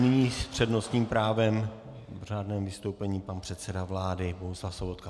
Nyní s přednostním právem v řádném vystoupení pan předseda vlády Bohuslav Sobotka.